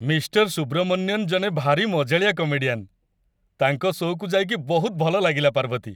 Mister Subramanian ଜଣେ ଭାରି ମଜାଳିଆ କମେଡିଆନ୍ । ତାଙ୍କ ଶୋ'କୁ ଯାଇକି ବହୁତ ଭଲ ଲାଗିଲା, ପାର୍ବତୀ ।